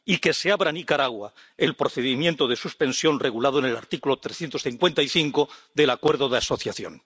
y que se abra a Nicaragua el procedimiento de suspensión regulado en el artículo 355 del Acuerdo de Asociación.